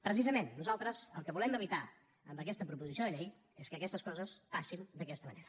precisament nosaltres el que volem evitar amb aquesta proposició de llei és que aquestes coses passin d’aquesta manera